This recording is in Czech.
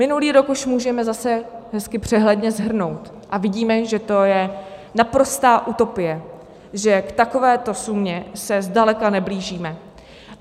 Minulý rok už můžeme zase hezky přehledně shrnout a vidíme, že to je naprostá utopie, že k takovéto sumě se zdaleka neblížíme.